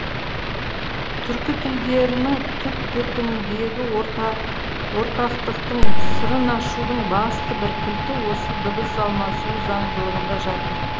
түркі тілдерінің түп төркініндегі ортақтықтың сырын ашудың басты бір кілті осы дыбыс алмасуы заңдылығында жатыр